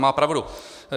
Má pravdu.